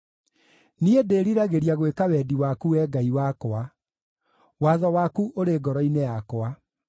Niĩ ndĩriragĩria gwĩka wendi waku, Wee Ngai wakwa; watho waku ũrĩ ngoro-inĩ yakwa.”